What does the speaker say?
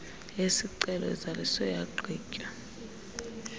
yesicelo izaliswe yagqitywa